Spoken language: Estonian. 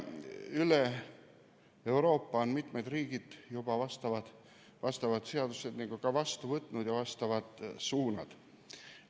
Üle Euroopa on mitmed riigid juba vastu võtnud vastavad seadused ja ka vastavad suunad.